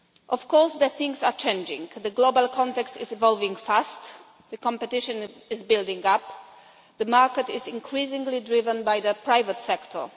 Of course, things are changing as the global context is evolving fast, competition is building up and the market is increasingly driven by the private sector.